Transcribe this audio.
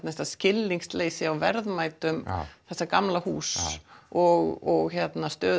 skilningsleysi á verðmætum þessa gamla húss og stöðu